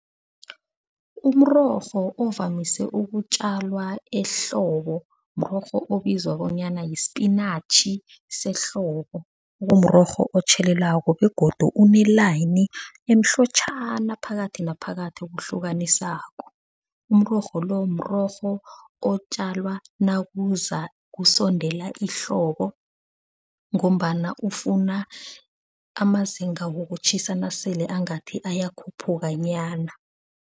Umrorho ovamise ukutjalwa ehlobo murorho obizwa bonyana yisipinatjhi sehlobo. Kumrorho otjhelelako begodu unelayini emhlotjhana phakathi naphakathi okuhlukanisako. Umrorho lo mrorho otjalwa nakuza kusondela ihlobo. Ngombana ufuna amazinga wokutjhisa nasele angathi ayakhuphuka nyana.